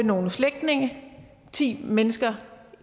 nogle slægtninge ti mennesker